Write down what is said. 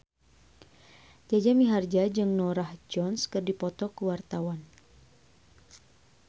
Jaja Mihardja jeung Norah Jones keur dipoto ku wartawan